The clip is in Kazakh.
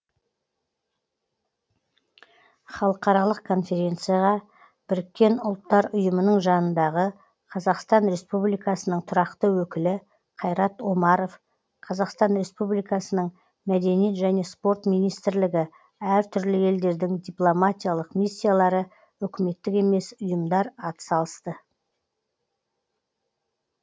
халықаралық конференцияға біріккен ұлттар ұйымының жанындағы қазақстан республикасының тұрақты өкілі қайрат омаров қазақстан республикасының мәдениет және спорт министрлігі әр түрлі елдердің дипломатиялық миссиялары үкіметтік емес ұйымдар атсалысты